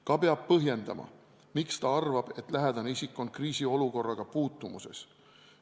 Samuti peab ta põhjendama, miks ta arvab, et lähedane isik on kriisiolukorraga puutumuses.